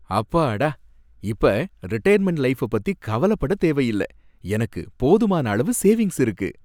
அப்பாடா! இப்ப retirement life பத்தி கவலைப்படத் தேவையில்ல, எனக்கு போதுமான அளவு சேவிங்க்ஸ் இருக்கு.